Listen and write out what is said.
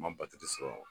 Ma sɔrɔ